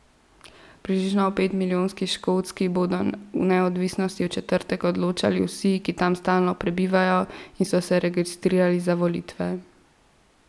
V približno petmilijonski Škotski bodo o neodvisnosti v četrtek odločali vsi, ki tam stalno prebivajo in so se registrirali za volitve.